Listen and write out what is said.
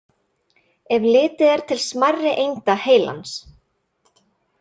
Ef litið er til smærri einda heilans.